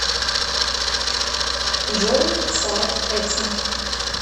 джой сайт эксмо